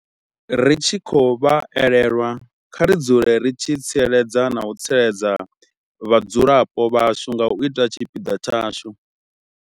Ri tshi khou vha elelwa, kha ri dzule ri tshi tsireledza na u tsireledza vhadzulapo vhashu nga u ita tshipiḓa tshashu.